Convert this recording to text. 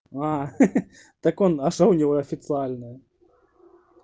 а ха ха так он а что у него официальное